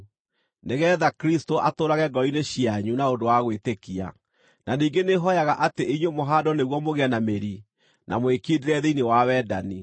nĩgeetha Kristũ atũũrage ngoro-inĩ cianyu na ũndũ wa gwĩtĩkia. Na ningĩ nĩhooyaga atĩ inyuĩ mũhaandwo nĩguo mũgĩe na mĩri na mwĩkindĩre thĩinĩ wa wendani,